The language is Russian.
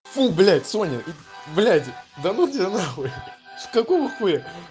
фу блять соня блять да ну тебя нахуй какого хуя